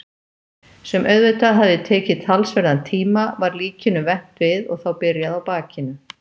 sem auðvitað hafði tekið talsverðan tíma- var líkinu vent við og þá byrjað á bakinu.